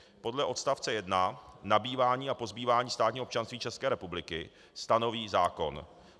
Podle odst. 1 nabývání a pozbývání státního občanství České republiky stanoví zákon.